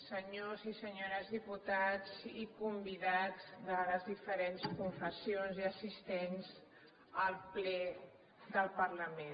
senyores i senyors diputats i convidats de les diferents confessions i assistents al ple del parlament